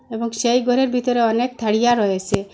এবং সেই ঘরের ভিতরে অনেক থারিয়া রয়েসে।